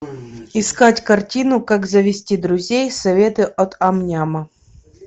искать картину как завести друзей советы от ам няма